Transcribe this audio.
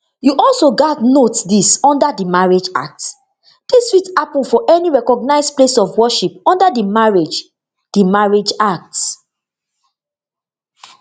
you also gatz note dis under di marriage act dis fit happun for any recognised place of worship under di marriage di marriage act